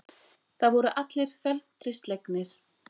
Það voru allir felmtri slegnir.